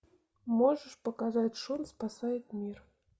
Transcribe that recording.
можешь показать шон спасает мир